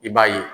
I b'a ye